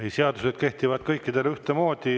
Ei, seadused kehtivad kõikidele ühtemoodi.